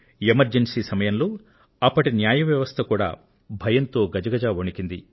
emergency సమయంలో అప్పటి న్యాయ వ్యవస్థ కూడా భయంతో గజగజ వణికింది